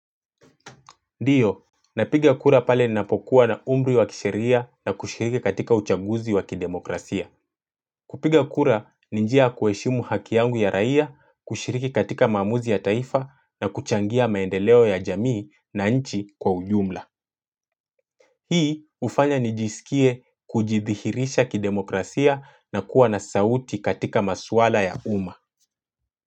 Ndiyo, napiga kura pale ninapokuwa na umri wa kisheria na kushiriki katika uchanguzi wa kidemokrasia. Kupiga kura ni njia ya kuheshimu haki yangu ya raia, kushiriki katika maamuzi ya taifa na kuchangia maendeleo ya jamii na nchi kwa ujumla. Hii ufanya nijisikie kujidhihirisha kidemokrasia na kuwa na sauti katika masuala ya uma.